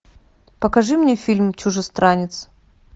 покажи мне фильм чужестранец